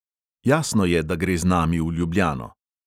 Jasno je, da gre z nami v ljubljano.